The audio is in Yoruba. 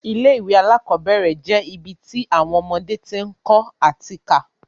Ilé ìwé alákọ́bẹ̀rẹ̀ je ibi ti awọn ọmọdé ti ń kọ́ ati ká